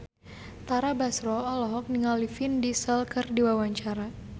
Tara Basro olohok ningali Vin Diesel keur diwawancara